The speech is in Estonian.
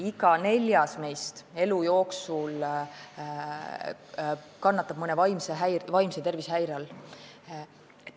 Iga neljas meist kannatab elu jooksul mõne vaimse tervise häire all.